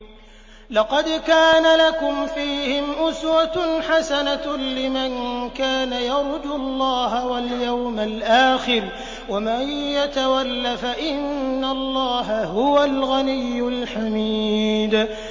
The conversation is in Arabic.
لَقَدْ كَانَ لَكُمْ فِيهِمْ أُسْوَةٌ حَسَنَةٌ لِّمَن كَانَ يَرْجُو اللَّهَ وَالْيَوْمَ الْآخِرَ ۚ وَمَن يَتَوَلَّ فَإِنَّ اللَّهَ هُوَ الْغَنِيُّ الْحَمِيدُ